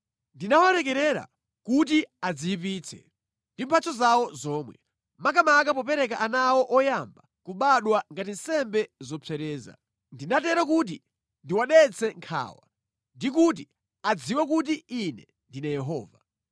Ndinawalekerera kuti adziyipitse ndi mphatso zawo zomwe, makamaka popereka ana awo oyamba kubadwa ngati nsembe zopsereza. Ndinatero kuti ndiwadetse nkhawa ndi kuti adziwe kuti Ine ndine Yehova.’